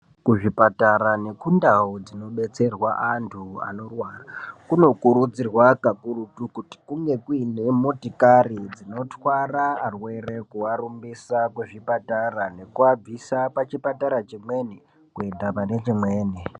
Kuzvipatara nekundau dzinobetserwa antu vanorwara kunokurudzirwa kakurutu kuti kunge kuine motokari dzinotwara arwere dzeivarumbisa kuchipatara nekuvabvisa pachipatara chimwe kuenda pane chimweni.